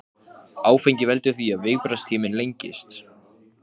Það er óhugsandi, segir hann, það passar ekki við greindarvísitöluna.